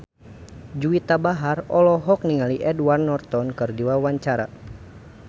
Juwita Bahar olohok ningali Edward Norton keur diwawancara